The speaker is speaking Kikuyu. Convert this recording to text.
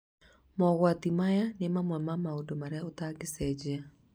Mogwatĩ maya nĩ mamwe ma maũndũ marĩa ũtangĩcenjia